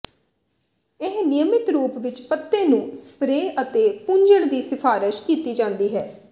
ਇਹ ਨਿਯਮਿਤ ਰੂਪ ਵਿੱਚ ਪੱਤੇ ਨੂੰ ਸਪਰੇਅ ਅਤੇ ਪੂੰਝਣ ਦੀ ਸਿਫਾਰਸ਼ ਕੀਤੀ ਜਾਂਦੀ ਹੈ